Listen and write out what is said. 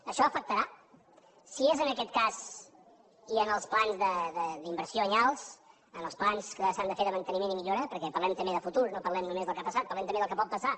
això afectarà si és en aquest cas els plans d’inversió anyals els plans que s’han de fer de manteniment i millora perquè parlem també de futur no parlem només del que ha passat parlem també del que pot passar